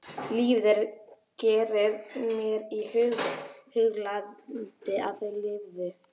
Lífið sem ég gerði mér í hugarlund að þau lifðu.